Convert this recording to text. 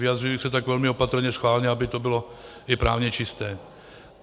Vyjadřuji se tak velmi opatrně schválně, aby to bylo i právně čisté.